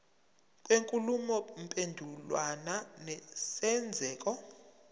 kwenkulumo mpendulwano nesenzeko